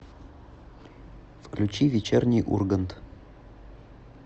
включи вечерний ургант